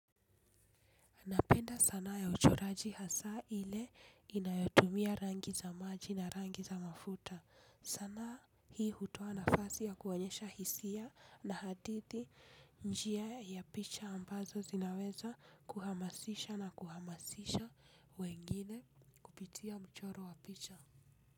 Napenda sanaa ya uchoraji hasa ile inayotumia rangi za maji na rangi za mafuta. Sana hii hutoa nafasi ya kuonyesha hisia na hadithi njia ya picha ambazo zinaweza kuhamasisha na kuhamasisha wengine kupitia mchoro wa picha.